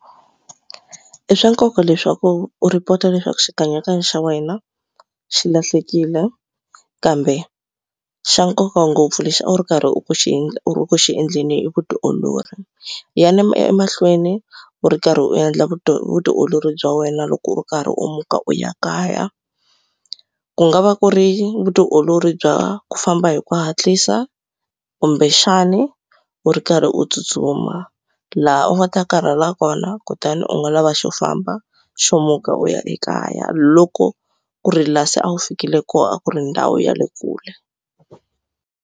I swa nkoka leswaku u report-a leswaku xikanyakanya xa wena xi lahlekile kambe xa nkoka ngopfu lexi a wu ri karhi u xi u ri ku xi endleni i vutiolori. Yana emahlweni u ri karhi u endla vutiolori bya wena loko u karhi u muka u ya kaya ku nga va ku ri vutiolori bya ku famba hi ku hatlisa kumbexani u ri karhi u tsutsuma laha u nga ta karhala kona kutani u nga lava xo famba xo muka u ya ekaya loko ku ri la se a wu fikile kona a ku ri ndhawu ya le kule.